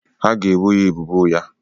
Ha ga-ebo ya ebubo ụgha.